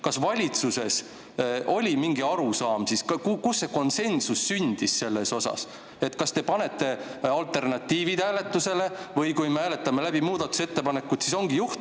Kas valitsuses oli mingi arusaam ka, kus sündis konsensus selles osas, kas te panete alternatiivid hääletusele või me hääletame muudatusettepanekud läbi?